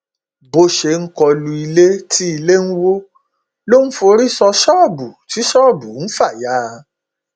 bó ṣe ń kọ lu ilé tí ilé ń wọ ló ń forí sọ ṣọọbù tí ṣọọbù ń fà ya